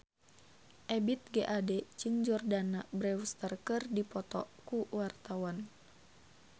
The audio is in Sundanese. Ebith G. Ade jeung Jordana Brewster keur dipoto ku wartawan